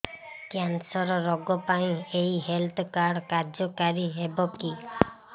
cancer ରୋଗ ପାଇଁ ଏଇ ହେଲ୍ଥ କାର୍ଡ କାର୍ଯ୍ୟକାରି ହେବ କି